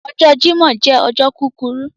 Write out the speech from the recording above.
Ọjọ̀ Jímọ̀ jẹ ọjọ̀ kukuru